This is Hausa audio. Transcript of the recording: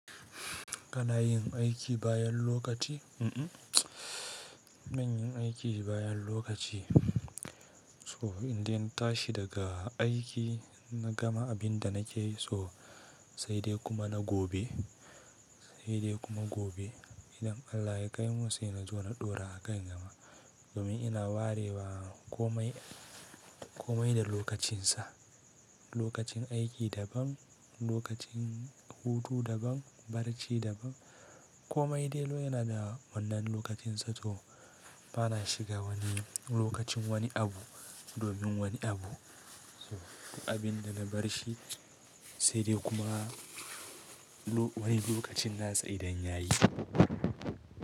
Kana yin aiki bayan lokaci? Mm-mm, ban yin aiki bayan lokaci. To indai na tashi daga aiki, na gama abin da na ke so, sai dai kuma na gobe, sai dai kuma gobe. Idan Allah ya kaimu sai na zo na ɗora a kai gama. Domin ina ware wa komai, komai da lokacinsa. Lokacin aiki daban, lokacin hutu daban, barci daban. Komai dai lo yana da wannan lokacinsa to bana shiga wani lokacin wani abu domin wani abu. So abin da na bar shi sai dai kuma wani lokacin na tsai da an yayi.